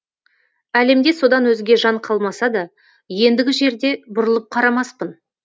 әлемде содан өзге жан қалмаса да ендігі жерде бұрылып қарамаспын